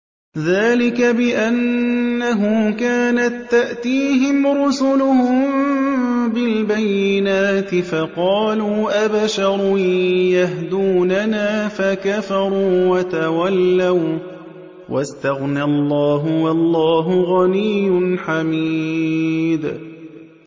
ذَٰلِكَ بِأَنَّهُ كَانَت تَّأْتِيهِمْ رُسُلُهُم بِالْبَيِّنَاتِ فَقَالُوا أَبَشَرٌ يَهْدُونَنَا فَكَفَرُوا وَتَوَلَّوا ۚ وَّاسْتَغْنَى اللَّهُ ۚ وَاللَّهُ غَنِيٌّ حَمِيدٌ